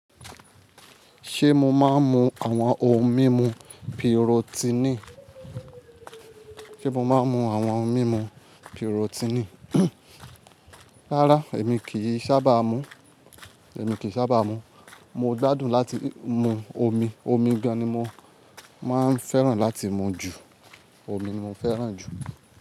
Ṣé mo máa ń mu àwọn ohun mímu pirotini? Rárá, èmi kì í sábà mu. Mo gbádùn láti mu omi. Omi ganí mo máa ń fẹ́ràn láti mu jù. Omi mo fẹ́ràn jù.